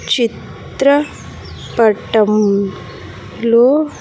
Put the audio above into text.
చిత్ర పటం లో.